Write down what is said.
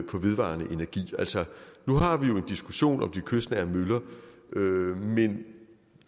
på vedvarende energi nu har vi jo en diskussion om de kystnære møller men